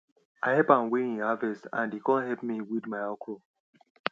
i help am weigh e harvest and he come help me weed my okro